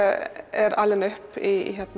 er alinn upp í